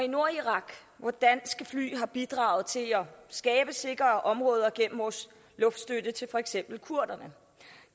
nordirak hvor danske fly har bidraget til at skabe sikre områder gennem vores luftstøtte til for eksempel kurderne